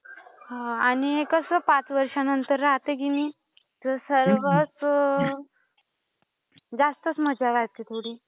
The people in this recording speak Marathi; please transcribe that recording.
हा. आणि कसं, पाच वर्षानंतर राहतं की नाही, तर सर्वच जास्तच मजा वाटते थोडी.